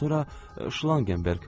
Sonra Şlangenberx.